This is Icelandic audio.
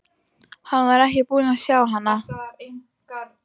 Hann var ekki búinn að sjá hana.